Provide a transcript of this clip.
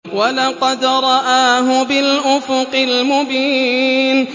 وَلَقَدْ رَآهُ بِالْأُفُقِ الْمُبِينِ